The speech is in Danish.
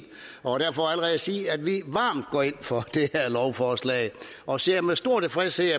og derfor allerede sige at vi varmt går ind for det her lovforslag og ser med stor tilfredshed